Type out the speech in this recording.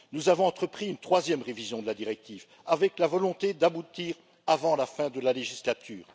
Nous avons entrepris une troisième révision de la directive, avec la volonté d'aboutir avant la fin de la législature.